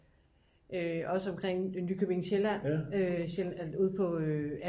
også omkring nykøbing sjælland ude på ja